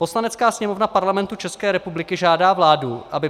Poslanecká sněmovna Parlamentu České republiky žádá vládu, aby